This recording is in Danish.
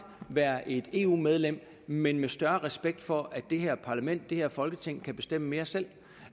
være et eu medlem men med større respekt for at det her parlament det her folketing kan bestemme mere selv